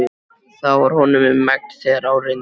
Það var honum um megn þegar á reyndi.